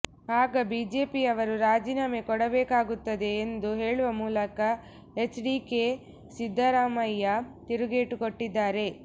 ಆಗ ಬಿಜೆಪಿಯವರು ರಾಜೀನಾಮೆ ಕೊಡಬೇಕಾಗುತ್ತದೆ ಎಂದು ಹೇಳುವ ಮೂಲಕ ಎಚ್ಡಿಕೆಗೆ ಸಿದ್ದರಾಮಯ್ಯ ತಿರುಗೇಟು ಕೊಟ್ಟಿದ್ದಾರೆ